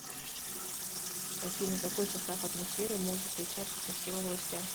афина какой состав атмосферы может отличаться по всем областям